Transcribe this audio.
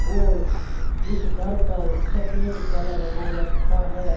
और इस घर पर सफेद कलर हो रखा है।